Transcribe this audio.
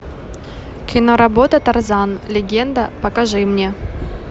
киноработа тарзан легенда покажи мне